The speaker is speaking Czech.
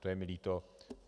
To je mi líto.